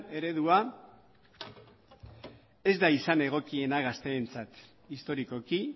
eredua ez da izan egokiena gazteentzat historikoki